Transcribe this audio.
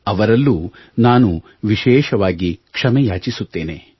ಅವರಲ್ಲೂ ನಾನು ವಿಶೇಷವಾಗಿ ಕ್ಷಮೆ ಯಾಚಿಸುತ್ತೇನೆ